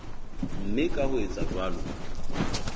mme ka ho etsa jwalo